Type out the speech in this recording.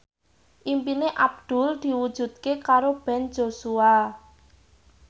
impine Abdul diwujudke karo Ben Joshua